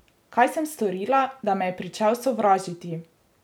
Kaj sem storila, da me je pričel sovražiti?